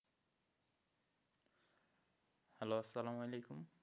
Hello আসালাম ওয়ালিকুম।